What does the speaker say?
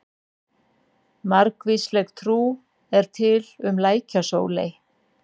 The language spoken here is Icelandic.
Margvísleg trú er til um lækjasóley.